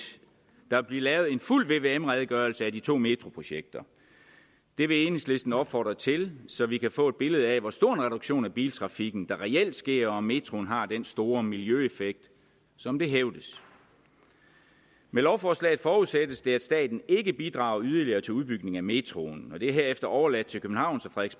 der vil blive lavet en fuld vvm redegørelse af de to metroprojekter det vil enhedslisten opfordre til så vi kan få et billede af hvor stor en reduktion af biltrafikken der reelt sker og om metroen har den store miljøeffekt som det hævdes med lovforslaget forudsættes det at staten ikke bidrager yderligere til udbygning af metroen det er herefter overladt til københavns og